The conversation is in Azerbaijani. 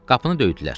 Qapını döydülər.